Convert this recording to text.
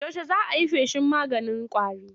Yaushe za a yi feshin maganin ƙwarin?